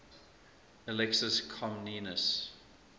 alexius comnenus